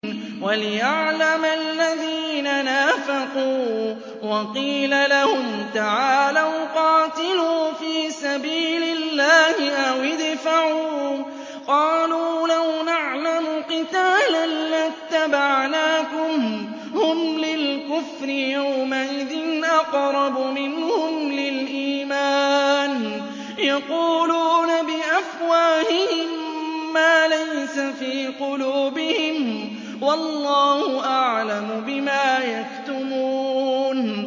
وَلِيَعْلَمَ الَّذِينَ نَافَقُوا ۚ وَقِيلَ لَهُمْ تَعَالَوْا قَاتِلُوا فِي سَبِيلِ اللَّهِ أَوِ ادْفَعُوا ۖ قَالُوا لَوْ نَعْلَمُ قِتَالًا لَّاتَّبَعْنَاكُمْ ۗ هُمْ لِلْكُفْرِ يَوْمَئِذٍ أَقْرَبُ مِنْهُمْ لِلْإِيمَانِ ۚ يَقُولُونَ بِأَفْوَاهِهِم مَّا لَيْسَ فِي قُلُوبِهِمْ ۗ وَاللَّهُ أَعْلَمُ بِمَا يَكْتُمُونَ